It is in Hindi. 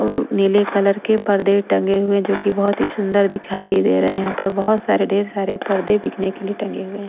और नीले कलर के पर्दे टंगे हुए हैं जो कि बहुत ही सुंदर दिखाई दे रहे हैं यहाँ पर बहुत सारे ढेर सारे पर्दे बिकने के लिए टंगे हुए हैं।